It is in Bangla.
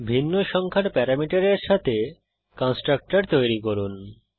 ভিন্ন সংখ্যার প্যারামিটারের সাথে কন্সট্রকটর তৈরী করুন